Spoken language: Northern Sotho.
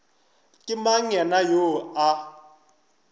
ke mang yena yoo a